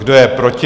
Kdo je proti?